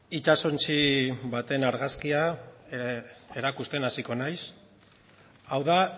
itsasontzi baten argazkia erakusten hasiko naiz hau da